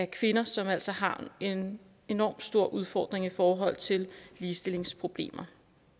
kvinder som jo altså har en enorm stor udfordring i forhold til ligestillingsproblemer